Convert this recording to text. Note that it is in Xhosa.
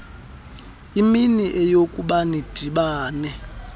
imini eyokuba nidibane